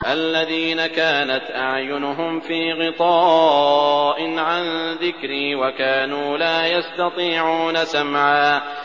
الَّذِينَ كَانَتْ أَعْيُنُهُمْ فِي غِطَاءٍ عَن ذِكْرِي وَكَانُوا لَا يَسْتَطِيعُونَ سَمْعًا